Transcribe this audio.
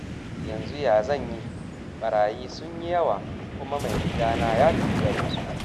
Yanzu ya zan yi, barayi sun yi yawa, kuma mai gadina ya tafi garinsu